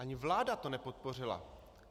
Ani vláda to nepodpořila.